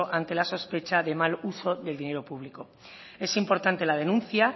ante la sospecha del mal uso del dinero público es importante la denuncia